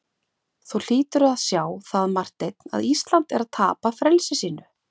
Þú hlýtur að sjá það, Marteinn, að Ísland er að tapa frelsi sínu.